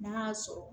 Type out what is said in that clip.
N'a y'a sɔrɔ